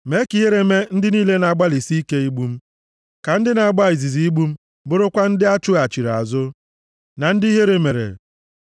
Mee ka ihere mee ndị niile na-agbalịsị ike igbu m. Ka ndị na-agba izuzu igbu m bụrụkwa ndị a chụghachiri azụ, na ndị ihere mere.